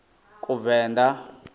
kuvenḓa